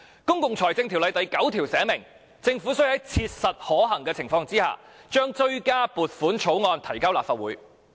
《公共財政條例》第9條訂明，政府需要在切實可行的情況下，將追加撥款條例草案提交立法會。